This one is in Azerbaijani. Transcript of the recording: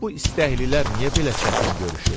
Bəs bu istəklilər niyə belə çətin görüşür?